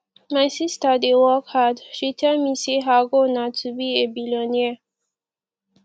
my sister dey work hard she tell me say her goal na to be a billionaire